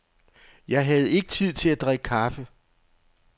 Jeg havde ikke tid til at drikke kaffe.